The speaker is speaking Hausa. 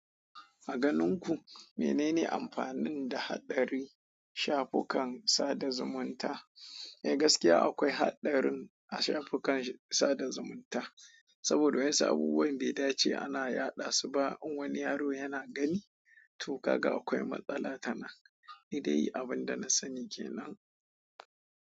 A ganin ku menene amfanin da hatsarin shafukan sada zumunta? Mai gaskiya akwai hatsarin a shafukan sada zumunta, saboda wasu abubuwan bai dace ana yaɗa su ba in wani yaro yana gani. To gaga akwai matsala tana. Ni dai abin da na sani kenan.